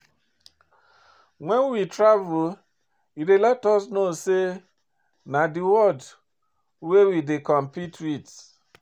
When we travel, e dey let us know sey di na di world we dey compete with